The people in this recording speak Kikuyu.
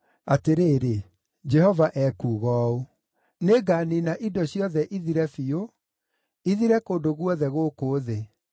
Atĩrĩrĩ, Jehova ekuuga ũũ: “Nĩnganiina indo ciothe ithire biũ, ithire kũndũ guothe gũkũ thĩ.